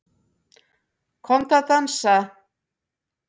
Komdu að dansa